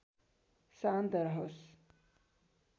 शान्त रहोस्